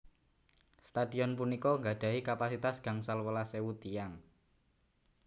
Stadion punika gadahi kapasitas gangsal welas ewu tiyang